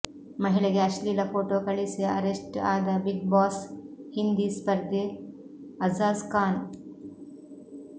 ಮಹಿಳೆಗೆ ಅಶ್ಲೀಲ ಫೋಟೋ ಕಳುಹಿಸಿ ಅರೆಸ್ಟ್ ಆದ ಬಿಗ್ ಬಾಸ್ ಹಿಂದಿ ಸ್ಪರ್ಧಿ ಅಝಾಜ್ ಖಾನ್